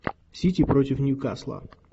сити против ньюкасла